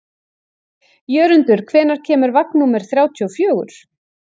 Jörundur, hvenær kemur vagn númer þrjátíu og fjögur?